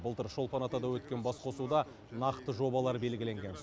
былтыр шолпан атада өткен басқосуда нақты жобалар белгіленген